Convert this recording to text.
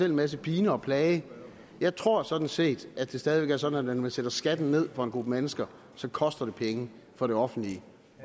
en masse pine og plage jeg tror sådan set at det stadig væk er sådan at når man sætter skatten ned for en gruppe mennesker så koster det penge for det offentlige